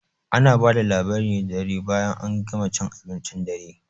Ana bada labari ne da dare bayan an gama cin abincin dare